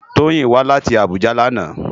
Toyin wá láti Abuja làná